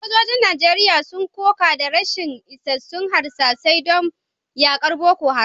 Sojojin Najeriya sun koka da rashin isassun harsasai don yakar Boko Haram